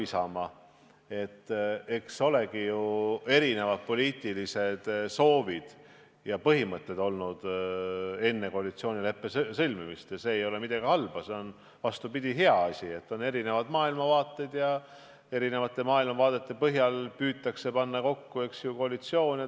Eks enne koalitsioonileppe sõlmimist ole ikka ju erinevaid poliitilisi soove ja põhimõtteid olnud ning selles ei ole midagi halba, vastupidi, see on hea, et on erinevaid maailmavaateid ja nende põhjal püütakse kokku panna koalitsioone.